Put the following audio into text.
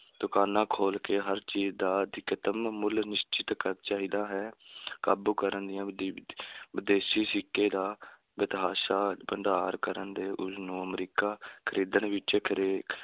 ਦੁਕਾਨਾਂ ਖੋਲ੍ਹ ਕੇ ਹਰ ਚੀਜ਼ ਦਾ ਅਧਿਕਤਮ ਮੁੱਲ ਨਿਸ਼ਚਿਤ ਕਰ~ ਚਾਹੀਦਾ ਹੈ ਕਾਬੂ ਕਰਨ ਦੀਆਂ ਵਿਦੇਸ਼ੀ ਸਿੱਕੇ ਦਾ ਬੇਤਹਾਸ਼ਾ ਭੰਡਾਰ ਕਰਨ ਦੇ ਨੂੰ ਅਮਰੀਕਾ ਖਰੀਦਣ ਵਿੱਚ